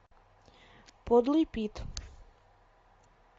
подлый пит